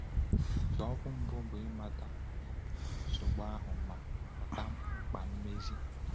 Nzọụkwụ mbụ bụ ịmata um nsogbu ahụ ma ghọta mkpa mmezi.